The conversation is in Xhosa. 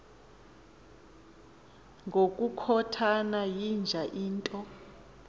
ngokukhothana yinja into